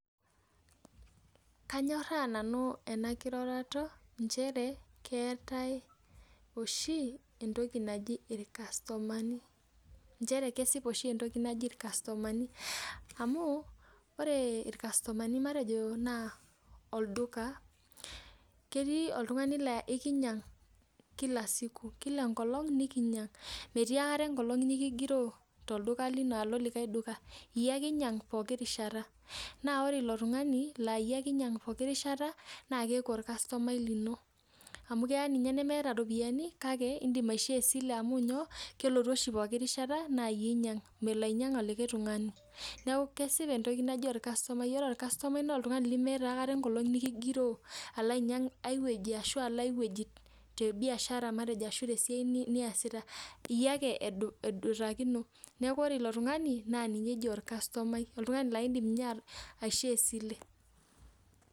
Kanyoraa nanu enakiroroto nchere keetae entoki naji irkastomani nchere kesipa oshi enroki naji irkastomani ketii oltungani la ekinyang kila enkolong meriiakata enkolong nikigiroo alo likae shamba iyie ake inyang pooki rishata ma keaku orkastomai lino amu keaku ore enkolong nemeeta ropiyani na indim aishoo esile amu kelotu oshi pokki rishata na iyie ake inyang melo ainyang likae tungani neaky kesipa entoki naji orkastomai amu ore orkastomai na iyi ake inyang minyang likae tungani nemeta akata enkolong nikigiroo alo enkae wueji matejo tesiai niasita iyie ake edutakino neaku ore ilo tungani na ninye eji orkastomai oltungani la indim aishoo esile.